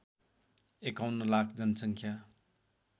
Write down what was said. एकाउन्न लाख जनसङ्ख्या